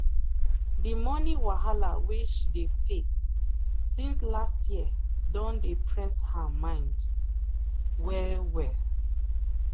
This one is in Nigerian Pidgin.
the money wahala wey she dey face since last year don dey press her mind well well.